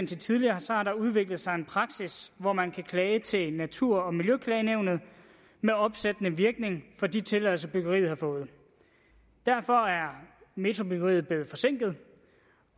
til tidligere har der udviklet sig en praksis hvor man kan klage til natur og miljøklagenævnet med opsættende virkning for de tilladelser byggeriet har fået derfor er metrobyggeriet blevet forsinket